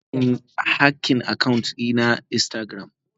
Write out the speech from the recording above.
Jiya an yi hacking account dina na instagram.